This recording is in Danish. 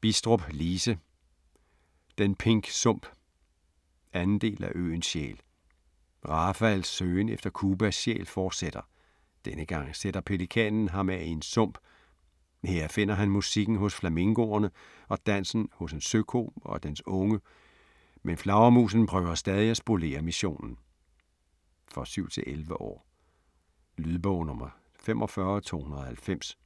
Bidstrup, Lise: Den pink sump 2. del af Øens sjæl. Rafaels søgen efter Cubas sjæl fortsætter. Denne gang sætter pelikanen ham af i en sump. Her finder han musikken hos flamingoerne og dansen hos en søko og dens unge, men flagermusen prøver stadig spolere missionen. For 7-11 år. Lydbog 45290